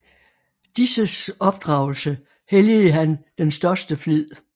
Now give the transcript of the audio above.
Disses opdragelse helligede han den største flid